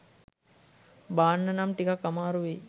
බාන්න නම් ටිකක් අමාරු වෙයි.